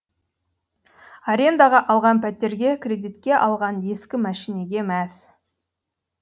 арендаға алған пәтерге кредитке алған ескі мәшинеге мәз